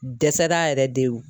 U dɛsɛra yɛrɛ de wo!